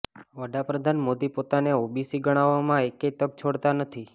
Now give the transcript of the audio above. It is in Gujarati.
વડાપ્રધાન મોદી પોતાને ઓબીસી ગણાવવામાં એકેય તક છોડતા નથી